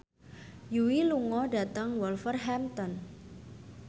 Yui lunga dhateng Wolverhampton